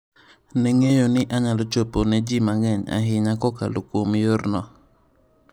Ne ng'eyo ni anyalo chopo ne ji mang'eny ahinya kokalo kuom yorno.